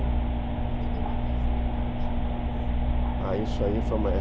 Quando te deu vontade de escrever para jovens? Ah, isso aí